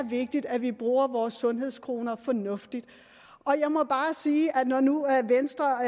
vigtigt at vi bruger vores sundhedskroner fornuftigt og jeg må bare sige at når nu venstre